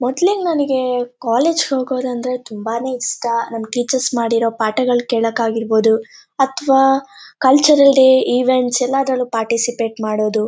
ಮೊದ್ಲಿಗ್ ನನಿಗೆ ಕಾಲೇಜಿಗ್ ಹೋಗೋದಂದ್ರೆ ತುಂಬಾನೇ ಇಷ್ಟ ನಮ್ ಟೀಚರ್ಸ್ ಮಾಡಿರೋ ಪಾಠಗಳ್ ಕೇಳಕ್ ಆಗಿರ್ಬೋದುಅತ್ವಾ ಕಲ್ಚರಲ್ ಡೇ ಇವೆಂಟ್ಸ್ ಎಲ್ಲ ಅದ್ರಲ್ಲು ಪಾರ್ಟಿಸಿಪೇಟೆ ಮಾಡೋದು.